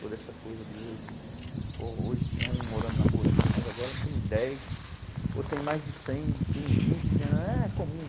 Toda essa coisa de hoje, pô, hoje tinha um morando na rua aqui, mas agora tem dez, ou tem mais de cem, tem vinte, é comum.